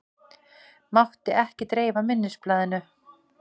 Mátti ekki dreifa minnisblaðinu